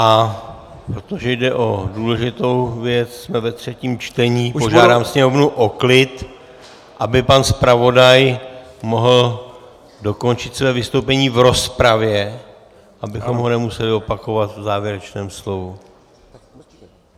A protože jde o důležitou věc, jsme ve třetím čtení, požádám sněmovnu o klid, aby pan zpravodaj mohl dokončit své vystoupení v rozpravě, abychom ho nemuseli opakovat v závěrečném slovu.